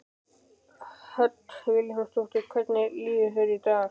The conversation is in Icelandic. Hödd Vilhjálmsdóttir: Hvernig líður þér í dag?